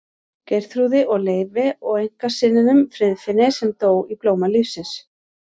Geirþrúði og Leifi og einkasyninum Friðfinni sem dó í blóma lífsins.